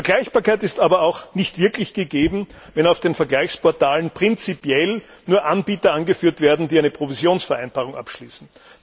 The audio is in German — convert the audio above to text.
Vergleichbarkeit ist aber auch nicht wirklich gegeben, wenn auf den Vergleichsportalen prinzipiell nur Anbieter angeführt werden, die eine Provisionsvereinbarung abschließen.